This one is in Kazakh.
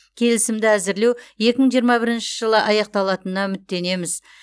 келісімді әзірлеу екі мың жиырма бірінші жылы аяқталатынына үміттенеміз